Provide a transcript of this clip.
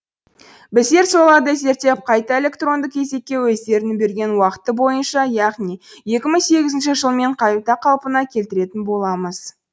біздер соларды зерттеп қайта электронды кезекке өздерінің берген уақыты бойынша яғни екі мың сегізінші жылмен қайта қалпына келтіретін боламыз